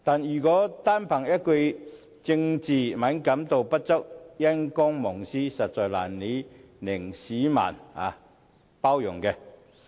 如果單憑一句"政治敏感度不足"、"因公忘私"，實在難以令市民包容。